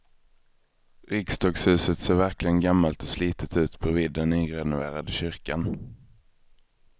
Riksdagshuset ser verkligen gammalt och slitet ut bredvid den nyrenoverade kyrkan.